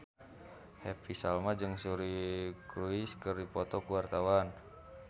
Happy Salma jeung Suri Cruise keur dipoto ku wartawan